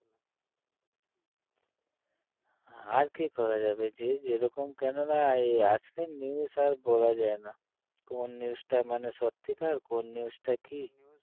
আর কী করা যাবে যে যেরকম কেননা এ~ আজকাল news আর বলা যায় না কোন news টা মানে সত্যিকার কোন news টা কী